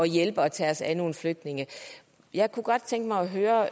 hjælpe og tage os af nogle flygtninge jeg godt tænke mig at høre